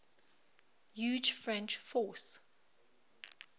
huge french force